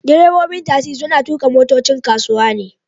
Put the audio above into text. Direbobin tasi suna tuka motocin kasuwa ne